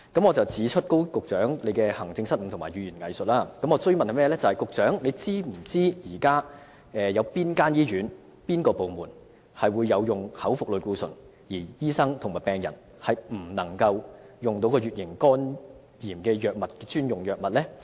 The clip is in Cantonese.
我要指出高局長行政上的失誤和善於語言"偽術"，並想追問他是否知道現時有哪些醫院和部門有口服類固醇可供處方使用，但醫生和病人是不能取用乙型肝炎的專用藥物？